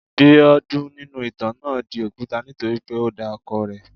Biodun nínú ìtàn náà di òkúta nítorí pé o da ọkọ rẹ̀.